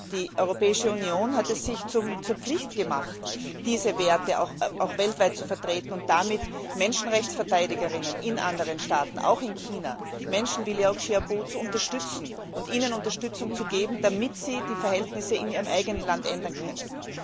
Die Europäische Union hat es sich zur Pflicht gemacht, diese Werte auch weltweit zu vertreten, und damit Menschenrechtsverteidigern in anderen Staaten, auch in China, Menschen wie Liu Xiaobo zu unterstützen und ihnen Unterstützung zu geben, damit sie die Verhältnisse in ihrem eigenen Land ändern können.